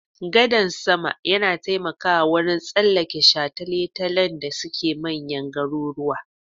Gadan sama yana taimakawa wurin tsallake shataletalen da suke manyan garuruwa.